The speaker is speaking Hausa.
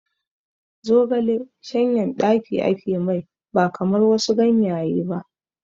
Zogale shanyan ɗaki ake mai ba kamar wasu ganyaye ba